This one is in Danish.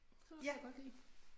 Sådan noget kan jeg godt lide